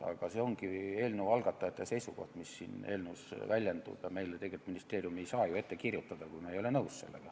Aga see on eelnõu algatajate seisukoht, mis siin eelnõus väljendub, ja ministeerium ei saa ju meile ette kirjutada seda, millega me nõus ei ole.